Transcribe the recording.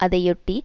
அதையொட்டி